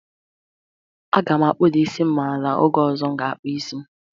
Aga m akpụda isi m ala n'oge ọzọ m ga-akpụ isi.